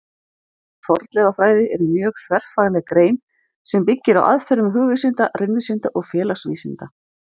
Fornleifafræði er mjög þverfagleg grein sem byggir á aðferðum hugvísinda, raunvísinda og félagsvísinda.